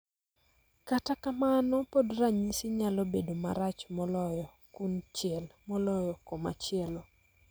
Kata kamano, pod ranyisi nyalo bedo marach moloyo kunchiel moloyo komachielo.